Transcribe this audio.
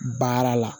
Baara la